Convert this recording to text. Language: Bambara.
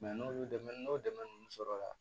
n'olu dɛmɛ n'o dɛmɛ ninnu sɔrɔla la